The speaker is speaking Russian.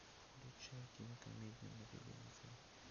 включай кинокомедию на телевизоре